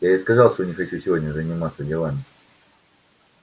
я ведь сказал что не хочу сегодня заниматься делами